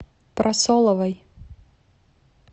прасоловой